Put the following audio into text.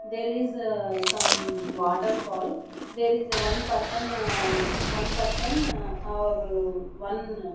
there is ah some waterfall there is a one person um one person ah or one --